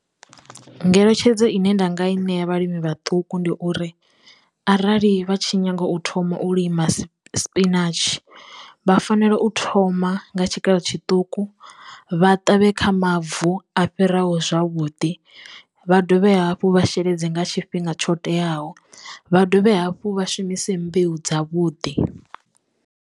Ngeletshedzo ine nda nga i ṋea vhalimi vhaṱuku, ndi uri arali vha tshi nyaga u thoma u lima ssp spinatshi vha fanela u thoma nga tshikalo tshiṱuku vha ṱavhe kha mavu a fhiraho zwavhuḓi. Vha dovhe hafhu vha sheledze nga tshifhinga tsho teaho vha dovhe hafhu vha shumise mbeu dza vhuḓi.